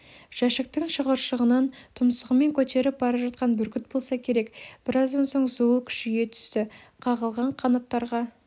жәшіктің шығыршығынан тұмсығымен көтеріп бара жатқан бүркіт болса керек біраздан соң зуыл күшейе түсті қағылған қанаттарға